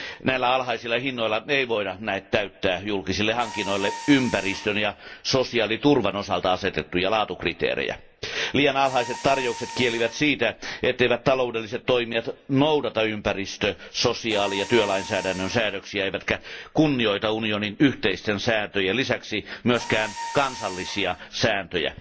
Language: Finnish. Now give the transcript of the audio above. Näillä alhaisilla hinnoilla ei voida näet täyttää julkisille hankinnoille ympäristön ja sosiaaliturvan osalta asetettuja laatukriteerejä. Liian alhaiset tarjoukset kielivät siitä, etteivät taloudelliset toimijat noudata ympäristö sosiaali ja työlainsäädännön säädöksiä eivätkä kunnioita unionin yhteisten sääntöjen lisäksi myöskään kansallisia sääntöjä.